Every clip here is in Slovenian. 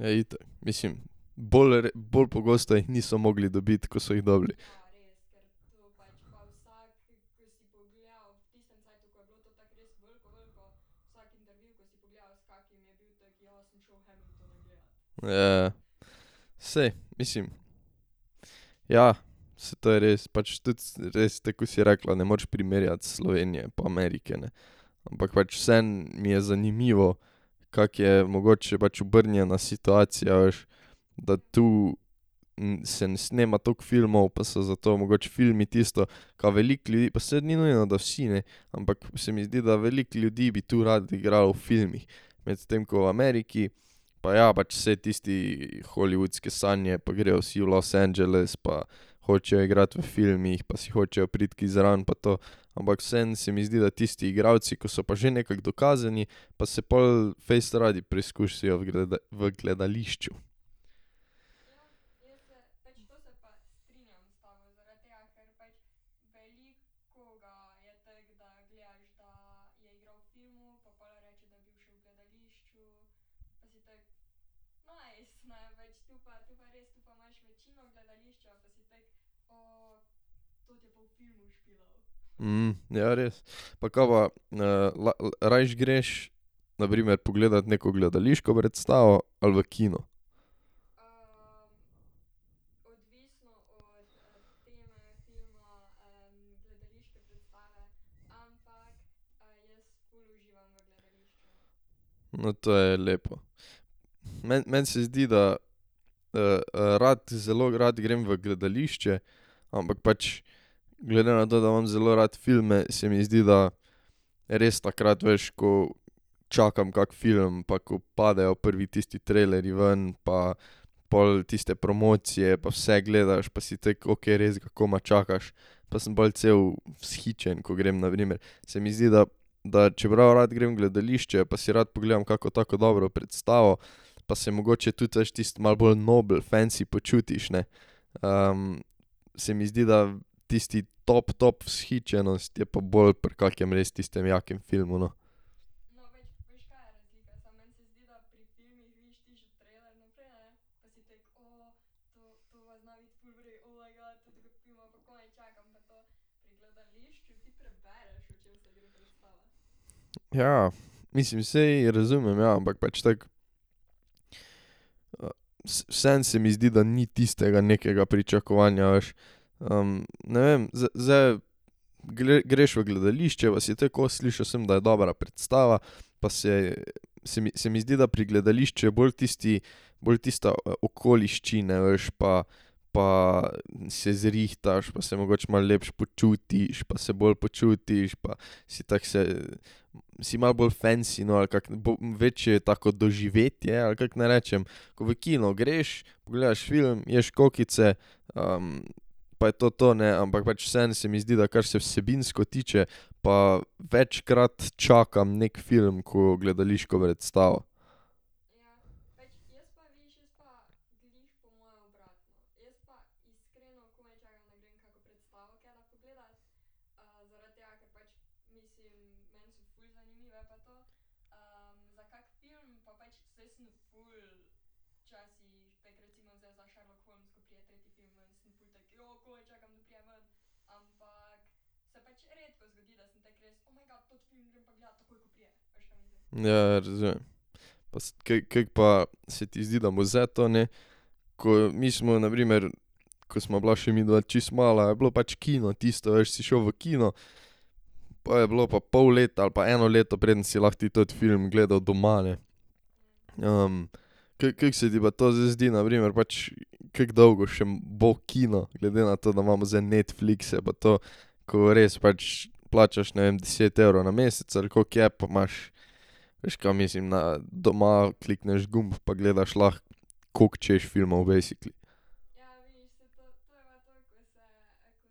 Ja, itak, mislim, bolj bolj pogosto jih niso mogli dobiti, ko so jih dobili. Saj, mislim. Ja, saj to je res. Pač tudi res, tako ko si rekla, ne moreš primerjati Slovenije pa Amerike, ne. Ampak pač vseeno mi je zanimivo, kako je mogoče pač obrnjena situacija, veš, da tu se ne snema toliko filmov, pa so zato mogoče filmi tisto, ka veliko ljudi, pa saj ni nujno, da vsi, ne, ampak se mi zdi, da veliko ljudi bi tu rado igralo v filmih. Medtem ko v Ameriki, pa ja, pač saj tisti hollywoodske sanje pa grejo vsi v Los Angeles pa hočejo igrati v filmih pa vsi hočejo priti kje zraven pa to. Ampak vseeno se mi zdi, da tisti igralci, ko so pa že nekako dokazani, pa se pol fejst radi preizkusijo v v gledališču. ja, res. Pa ka pa rajši greš na primer pogledat neko gledališko predstavo ali v kino? No, to je lepo. Meni, meni se zdi, da rad, zelo rad grem v gledališče, ampak pač glede na to, da imam zelo rad filme, se mi zdi, da res takrat veš, ko čakam kak film pa ko padejo prvi tisti trailerji ven pa pol tiste promocije pa vse gledaš pa si tako, ok, res ga komaj čakaš pa sem pol cel vzhičen, ko grem na primer, se mi zdi, da da čeprav rad grem v gledališče pa si rad pogledam kako tako dobro predstavo pa se mogoče tudi, veš, tisto malo bolj nobel, fensi počutiš, ne. Se mi zdi, da tisti top top vzhičenost je pa bolj pri kakem res tistem jakem filmu, no. Ja, mislim, saj razumem, ja, ampak pač tako. vseeno se mi zdi, da ni tistega nekega pričakovanja, veš. ne vem, zdaj greš v gledališče pa si tako, o, slišal sem, da je dobra predstava, pa saj, se mi, se mi zdi, da pri gledališču je bolj tisti bolj tista okoliščine, veš, pa pa se zrihtaš pa se mogoče malo lepše počutiš pa se bolje počutiš pa si tako se, si malo bolj fensi, no, ali kako, večje je tako doživetje ali kako naj rečem, ko v kino greš, pogledaš film, ješ kokice, pa je to to, ne, ampak pač vseeno se mi zdi, da kar se vsebinsko tiče, pa večkrat čakam neki film kot gledališko predstavo. Ja, ja, razumem. Pa kako pa se ti zdi, da bo zdaj to, ne? Ko mi smo, na primer, ko sva bila še midva čisto mala, je bilo pač kino tisto, a veš, si šel v kino po je bilo pa pol leta ali pa eno leto, preden si lahko ti teti film gledal doma, ne. kako se ti pa to zdaj zdi, na primer pač, kako dolgo še bo kino, glede na to, da imamo zdaj Netflixe pa to, ko res pač plačaš, ne vem, deset evrov na mesec ali koliko je pa imaš, veš, kaj mislim, na doma klikneš gumb pa gledaš lahko, koliko hočeš filmov basically. Ja. Pa tudi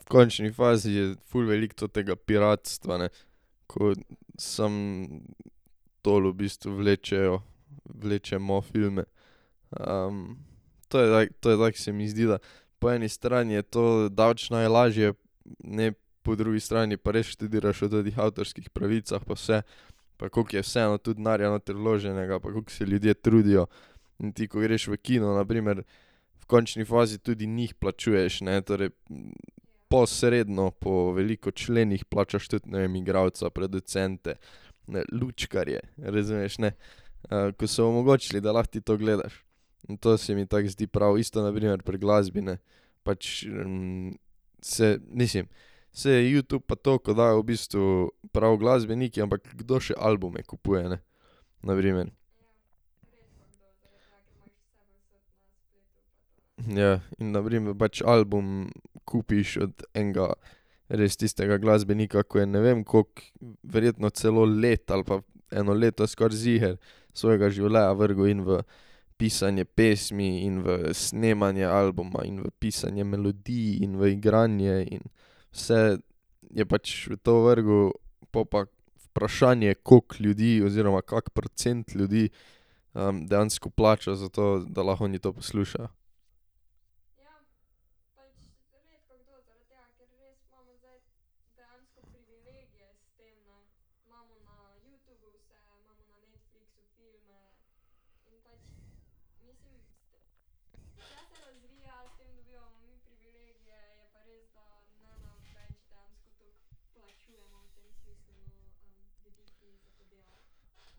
v končni fazi je ful veliko totega piratstva, ne. Ko samo dol v bistvu vlečejo, vlečemo filme. To je to je tako, se mi zdi, da po eni strani je to daleč najlažje, ne, po drugi strani pa res študiraš o tetih avtorskih pravicah pa vse. Pa kako je vseeno tudi denarja noter vloženega pa koliko se ljudje trudijo. In ti ko greš v kino, na primer, v končni fazi tudi njih plačuješ, ne, torej posredno po veliko členih plačaš tudi, ne vem, igralca, producente, ne, lučkarje, razumeš, ne. Ko so omogočili, da lahko ti to gledaš. In to se mi tako zdi prav, isto na primer pri glasbi, ne. Pač, se mislim, saj je Youtube pa to, ko dajo v bistvu prav glasbeniki, ampak kdo še albume kupuje, ne. Na primer. Ja. In na primer pač album kupiš od enega res tistega glasbenika, ko je ne vem koliko, verjetno celo leto ali pa eno leto skoraj ziher svojega življenja vrgel in v pisanje pesmi in v snemanje albuma in v pisanje melodij in v igranje in vse je pač v to vrgel, po pa vprašanje, koliko ljudi oziroma kak procent ljudi dejansko plača za to, da lahko oni to poslušajo.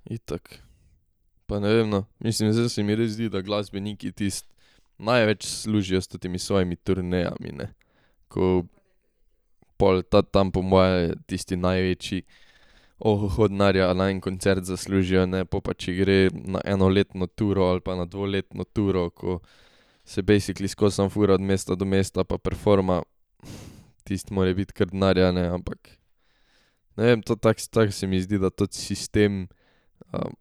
Itak. Pa ne vem, no, mislim, zdaj se mi res zdi, da glasbeniki tisto največ služijo s tetimi svojimi turnejami, ne. Ko pol ta tam po moje, tisti največji ohoho denarja na en koncert zaslužijo, ne, po pa če gre na enoletno turo ali pa na dvoletno turo, ko se basically skozi samo furajo od mesta do mesta pa performajo. Tisto mora biti kar denarja, ne, ampak. Ne vem, to tako, tako se mi zdi, da toti sistem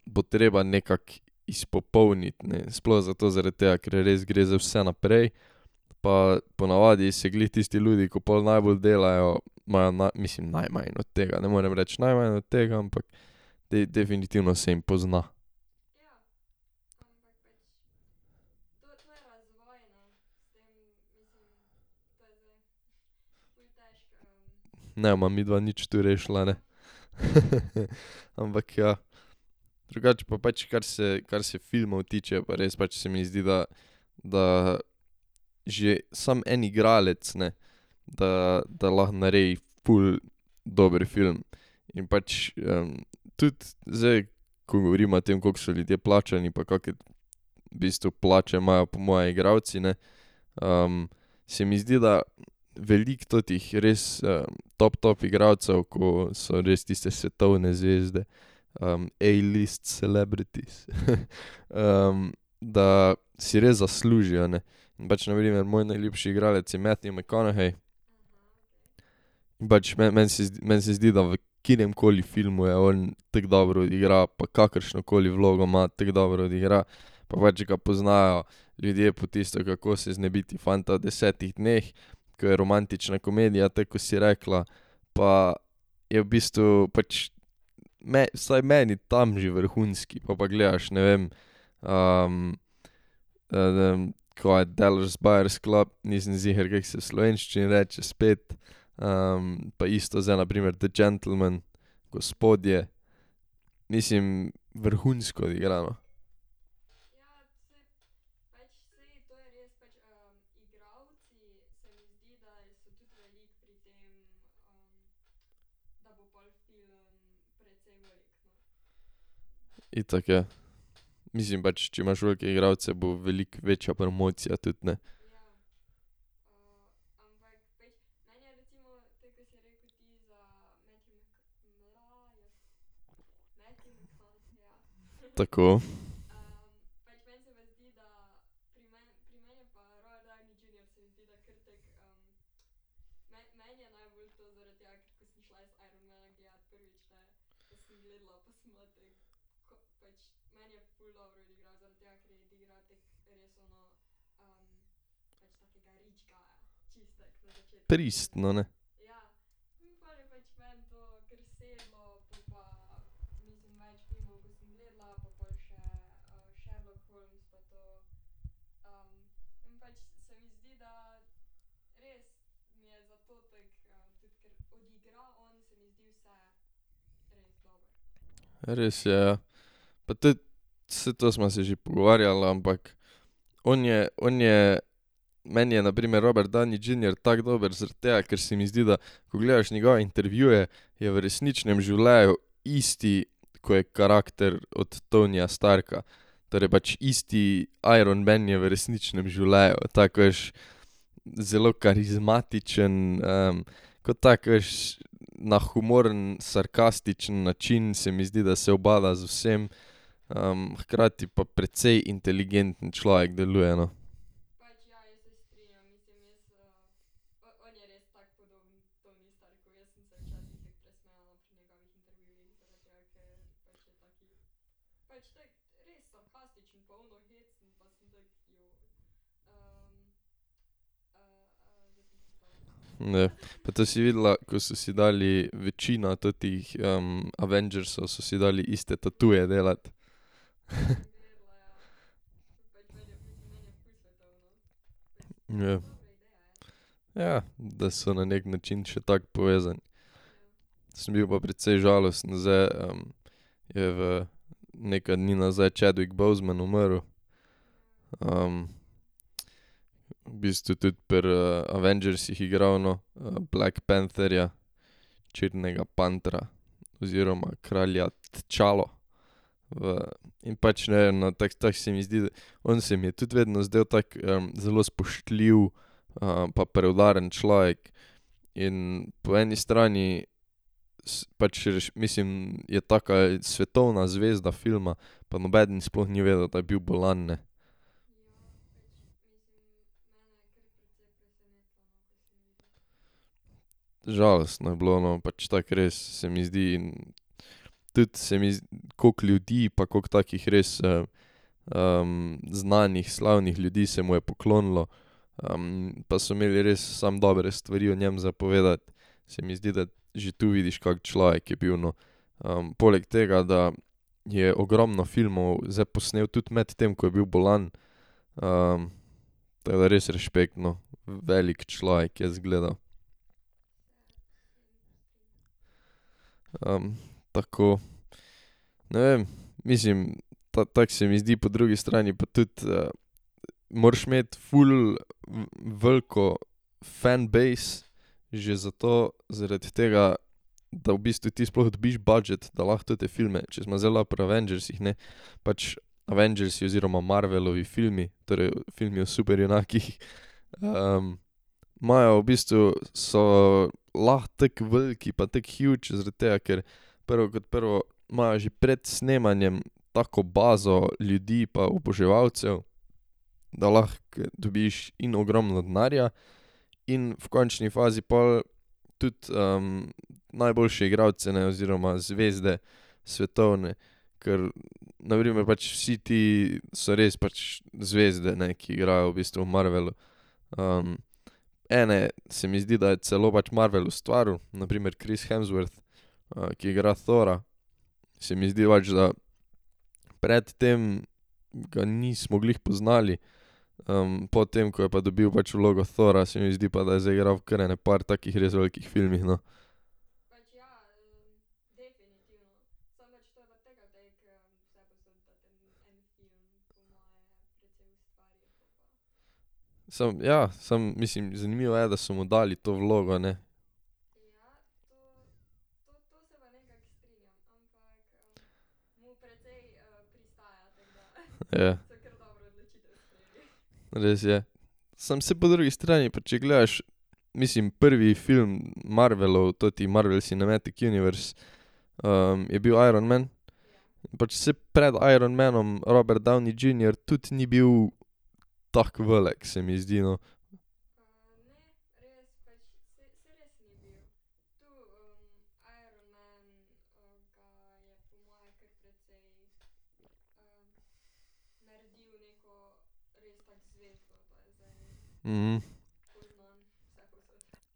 bo treba nekako izpopolniti, ne, sploh zato zaradi tega, ker res gre zdaj vse naprej, pa ponavadi se glih tisti ljudje, ko pol najbolj delajo, imajo mislim najmanj od tega, ne morem reči najmanj od tega, ampak definitivno se jim pozna. Ne bova midva nič tu rešila, ne. Ampak ja. Drugače pa pač kar se, kar se filmov tiče, je pa res, pač se mi zdi, da da že samo en igralec, ne, da da lahko naredi ful dober film. In pač tudi zdaj ko govoriva o tem, koliko so ljudje plačani pa kake v bistvu plače imajo, po moje igralci, ne, se mi zdi, da veliko totih res top top igralcev, ko so res tiste svetovne zvezde, A list celebrities da si res zaslužijo, ne. In pač, na primer, moj najljubši igralec je Matthew McConaughey. Pač meni se zdi, meni se zdi, da v kateremkoli filmu je on, tako dobro igra pa kakršnokoli vlogo ima, tako dobro odigra. Pa pač ga poznajo ljudje po tisto Kako se znebiti fanta v desetih dneh, k je romantična komedija, tako ko si rekla, pa je v bistvu pač vsaj meni tam že vrhunski, pol pa gledaš, ne vem, ne vem, kaj je Dallas buyers club, nisem ziher, kako se v slovenščini reče spet pa isto zdaj na primer The gentlemen, Gospodje, mislim, vrhunsko odigra, no. Itak, ja. Mislim, pač, če imaš velike igralce, bo veliko večja promocija tudi, ne. Tako. Pristno, ne. Res je, ja. Pa tudi, saj to sva se že pogovarjala, ampak on je, on je, meni je na primer Robert Downey Junior tako dober zaradi tega, ker se mi zdi, da ko gledaš njegove intervjuje, je v resničnem življenju isti, ko je karakter od Tonyja Starka. Torej pač isti Iron man je v resničnem življenju, tako veš zelo karizmatičen ko tako veš, na humoren, sarkastičen način, se mi zdi, da se ubada z vsem. hkrati pa precej inteligenten človek deluje, no. Pa to si videla, ko so si dali, večina tetih Avengersov so si dali iste tatuje delati. Ja. Ja, da so na neki način še tako povezani. Sem bil pa precej žalosten, zdaj je v nekaj dni nazaj Chadwick Boseman umrl. V bistvu tudi pri Avengersih igral, no, Black pantherja, Črnega pantra, oziroma kralja Tčalo. V in pač ne vem, no, tako tako se mi zdi, da on se mi je tudi vedno zdel tako zelo spoštljiv pa preudaren človek. In po eni strani pač, mislim, je taka svetovna zvezda filma, pa nobeden sploh ni vedel, da je bil bolan, ne. Žalostno je bilo, no, pač tako res se mi zdi, tudi se mi koliko ljudi pa koliko takih res znanih slavnih ljudi se mu je poklonilo, pa so imeli res samo dobre stvari o njem za povedati. Se mi zdi, da že tu vidiš, kak človek je bil, no. poleg tega, da je ogromno filmov zdaj posnel tudi med tem, ko je bil bolan. tako da res rešpekt no, velik človek je izgledal. tako. Ne vem, mislim, ta tako se mi zdi, po drugi strani pa tudi moraš imeti ful veliko fan base, že zato zaradi tega da v bistvu ti sploh dobiš budget, da lahko tete filme, če sva zdaj lahko pri Avengersih, ne. Pač, Avengersi oziroma Marvelovi filmi, torej filmi o superjunakih, imajo v bistvu, so lahko tako veliki pa tako huge zaradi tega, ker prvo kot prvo imajo že pred snemanjem tako bazo ljudi pa oboževalcev, da lahko dobiš in ogromno denarja in v končni fazi pol tudi najboljše igralce, ne, oziroma zvezde svetovne, ker na primer pač vsi ti so res pač zvezde, ne, ki igrajo v bistvu v Marvelu. ene se mi zdi, da je celo pač Marvel ustvaril, na primer Chris Hemsworth, ki igra Thora, se mi zdi pač, da pred tem ga nismo glih poznali, po tem, ko je pa dobil pač vlogo Thora , se mi zdi pa, da je zaigrali u kar ene par takih res velikih filmih, no. Samo, ja, samo, mislim, zanimivo je, da so mu dali to vlogo, ne. Ja. Res je. Samo se po drugi strani pa če gledaš, mislim, prvi film Marvelov, toti Marvel cinematic universe, je bil Iron man. Pač saj pred Iron manom Robert Downey Junior tudi ni bil tako velik, se mi zdi, no.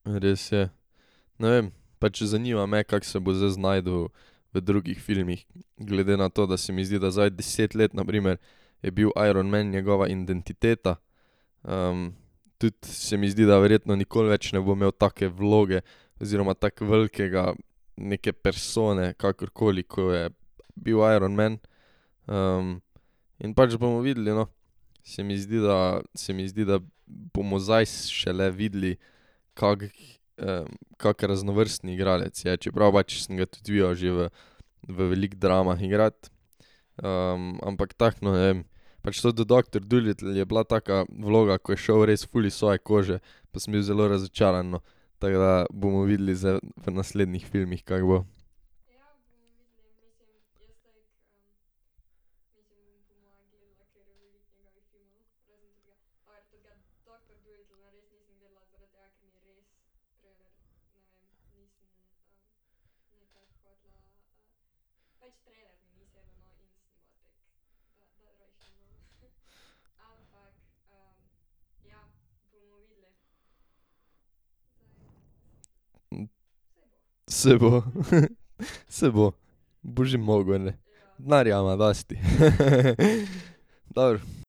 Res je. Ne vem, pač zanima me, kako se bo zdaj znašel v drugih filmih, glede na to, da se mi zdi, da zdaj deset let na primer je bil Iron man njegova identiteta. Tudi se mi zdi, da verjetno nikoli več ne bo imel take vloge, oziroma tako velikega neke persone, kakorkoli, ko je bil Iron man. In pač bomo videli, no. Se mi zdi, da, se mi zdi, da bomo zdaj šele videli kako raznovrstni igralec je, čeprav pač sem ga tudi videl že v v veliko dramah igrati. ampak tako no, ne vem, Pač to do Doctor Dolittle je bila taka vloga, ko je šel res ful iz svoje kože, pa sem bil zelo razočaran, no. Tako da bomo videli zdaj v naslednjih filmih, kako bo. Saj bo. Saj bo. Bo že mogel, glej. Denarja ima dosti. Dobro.